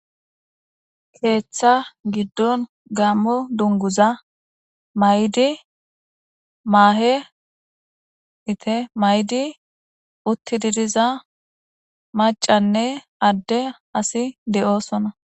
keeththa giddon gammo dunguza may7di maahe ite maydi utti didiza macanne adde asi de7oosona